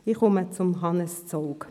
Ich komme zu Hannes Zaugg.